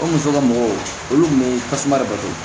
O muso ka mɔgɔw olu kun be tasuma de bato